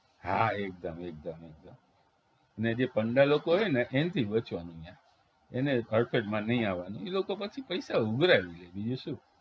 હા એકદમ એકદમ એકદમ ને જે પંડાલ લોકો હોય ને એનેથી બચવાનું ઈયા એને હડફેટમાં નહિ આવાનું ઈ લોકો પછી પૈસા ઉઘરાવી લ્યે બીજું શું